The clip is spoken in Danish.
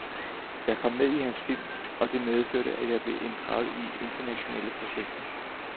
Jeg kom med i hans film og det medførte, at jeg blev inddraget i internationale projekter.